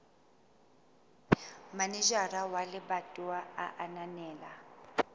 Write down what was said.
manejara wa lebatowa a ananela